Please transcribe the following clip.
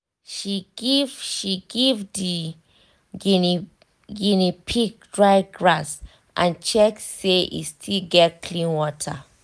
she give she give the guinea pig dry grass and check say e still get clean water.